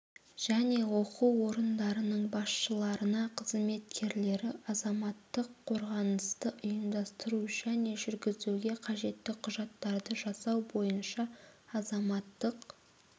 және оқу орындарының басшыларына қызметкерлері азаматтық қорғанысты ұйымдастыру және жүргізуге қажетті құжаттарды жасау бойынша азаматтық